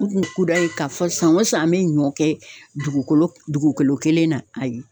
U kun kudayi k'a fɔ san o san an be ɲɔ kɛ dugukolo dugukolo kelen na ayi